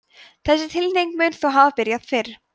þessi tilhneiging mun þó hafa byrjað fyrr